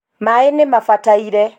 maĩ nĩ mabataire.